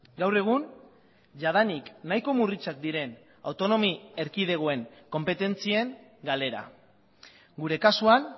gaur egun jadanik nahiko murritzak diren autonomi erkidegoen konpetentzien galera gure kasuan